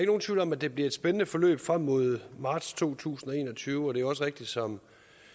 nogen tvivl om at det bliver et spændende forløb frem mod marts to tusind og en og tyve og det er også rigtigt som